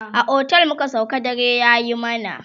a otel muka sauka dare yayi mana